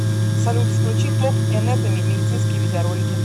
салют включи топ энетоми медицинские видеоролики